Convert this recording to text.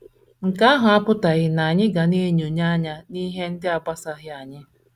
Nke ahụ apụtaghị na anyị ga na - enyonye anya n’ihe ndị na - agbasaghị anyị.